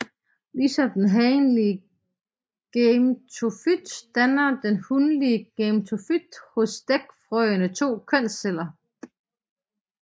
Ligesom den hanlige gametofyt danner den hunlige gametofyt hos dækfrøede to kønsceller